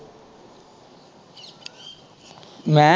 ਮੈਂ।